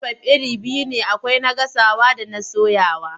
Mitifai iri biyu ne akwai na gasawa da na soyawa.